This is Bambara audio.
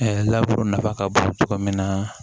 laburu nafa ka bon cogo min na